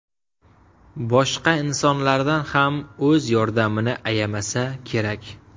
Boshqa insonlardan ham o‘z yordamini ayamasa kerak”.